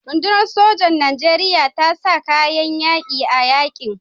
Rundunar sojan Nijeriya ta sa kayan yaƙi a yaƙin.